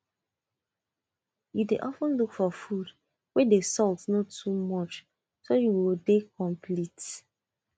you dey of ten look for food wey the salt no too much so you go dey complete